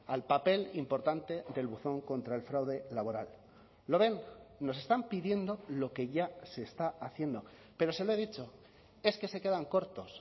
al papel importante del buzón contra el fraude laboral lo ven nos están pidiendo lo que ya se está haciendo pero se lo he dicho es que se quedan cortos